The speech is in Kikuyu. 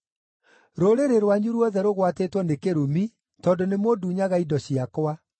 Rũrĩrĩ rwanyu ruothe rũgwatĩtwo nĩ kĩrumi, tondũ nĩmũndunyaga indo ciakwa.